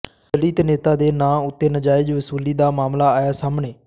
ਦਲਿਤ ਨੇਤਾ ਦੇ ਨਾਂ ਉੱਤੇ ਨਾਜਾਇਜ਼ ਵਸੂਲੀ ਦਾ ਮਾਮਲਾ ਆਇਆ ਸਾਹਮਣੇ